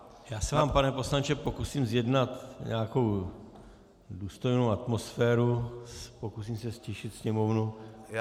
Já se vám, pane poslanče, pokusím zjednat nějakou důstojnou atmosféru, pokusím se ztišit sněmovnu.